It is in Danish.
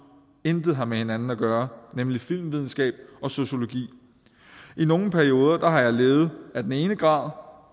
intet har med hinanden at gøre nemlig filmvidenskab og sociologi i nogle perioder har jeg levet af den ene grad